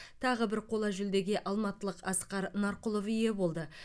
тағы бір қола жүлдеге алматылық асқар нарқұлов ие болды